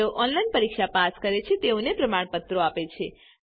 જેઓ ઓનલાઈન પરીક્ષા પાસ કરે છે તેઓને પ્રમાણપત્રો આપે છે